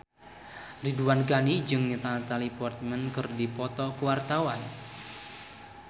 Ridwan Ghani jeung Natalie Portman keur dipoto ku wartawan